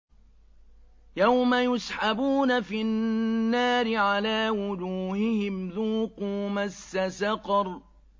يَوْمَ يُسْحَبُونَ فِي النَّارِ عَلَىٰ وُجُوهِهِمْ ذُوقُوا مَسَّ سَقَرَ